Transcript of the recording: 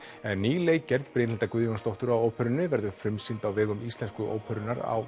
en ný leikgerð Brynhildar Guðjónsdóttur á óperunni verður frumsýnd á vegum Íslensku óperunnar á